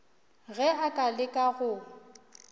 ge a ka leka go